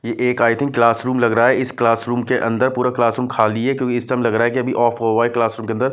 ये एक I think classroom लग रहा है इस क्लासरूम के अंदर पूरा क्लासरूम खाली है क्योंकि इस समय लग रहा है कि अभी ऑफ होआ है क्लासरूम के अंदर --